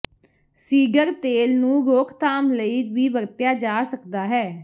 seeder ਤੇਲ ਨੂੰ ਰੋਕਥਾਮ ਲਈ ਵੀ ਵਰਤਿਆ ਜਾ ਸਕਦਾ ਹੈ